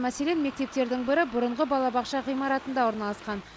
мәселен мектептердің бірі бұрынғы балабақша ғимаратында орналасқан